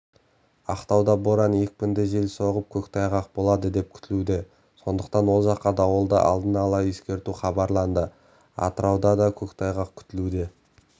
ақтауда боран екпінді жел соғып көктайғақ болады деп күтілуде сондықтан ол жаққа дауылды алдын ала ескерту хабарланды атырауда да көктайғақ күтілуде